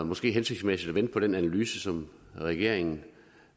måske hensigtsmæssigt at vente på den analyse som regeringen